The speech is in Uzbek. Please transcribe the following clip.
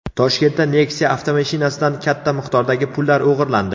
Toshkentda Nexia avtomashinasidan katta miqdordagi pullar o‘g‘irlandi.